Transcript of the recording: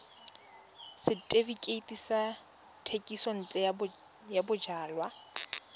setefikeiti sa thekisontle ya bojalwa